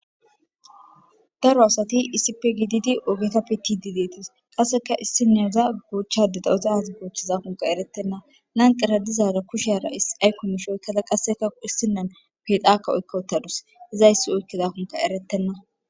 daro asati isip gididi oogeta pitidi deetis qasseka issineza goochchadeda ozaz goochchizakunka erettenna lanqera dizaara kusheara isay komishoy kala qasseka issinen pedakka oykka wutadus izayssi oykkezakunka erettenna